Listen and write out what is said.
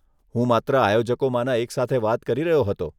હું માત્ર આયોજકોમાંના એક સાથે વાત કરી રહ્યો હતો.